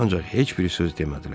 Ancaq heç biri söz demədilər.